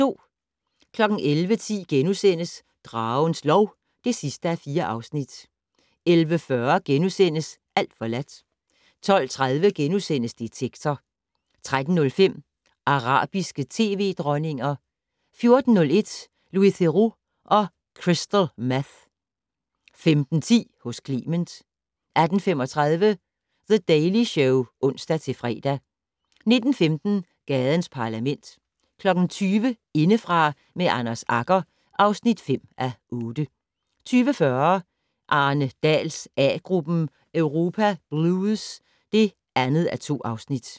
11:10: Dragens lov (4:4)* 11:40: Alt forladt * 12:30: Detektor * 13:05: Arabiske tv-dronninger 14:01: Louis Theroux og Crystal Meth 15:10: Hos Clement 18:35: The Daily Show (ons-fre) 19:15: Gadens Parlament 20:00: Indefra med Anders Agger (5:8) 20:40: Arne Dahls A-gruppen: Europa blues (2:2)